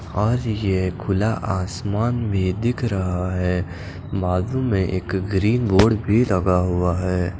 और यह खुला आसमान भी दिख रहा है बाज़ू में एक ग्रीन बोर्ड भी लगा हुआ है।